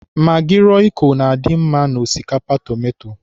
Magị rọịko na-adị mma n'osikapa tomato.